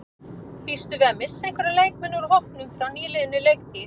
Býstu við að missa einhverja leikmenn úr hópnum frá nýliðinni leiktíð?